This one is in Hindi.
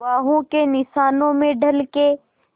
बाहों के निशानों में ढल के